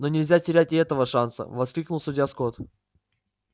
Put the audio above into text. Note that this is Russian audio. но нельзя терять и этого шанса воскликнул судья скотт